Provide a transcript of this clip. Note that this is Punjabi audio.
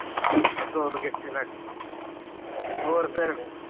ਸੁਰ ਕਿੱਥੇ ਲੱਗ ਹੋਰ ਫਿਰ